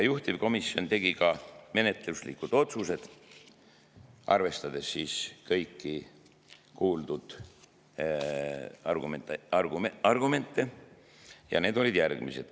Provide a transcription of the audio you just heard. Juhtivkomisjon tegi ka menetluslikud otsused, arvestades kõiki kuuldud argumente, ja need olid järgmised.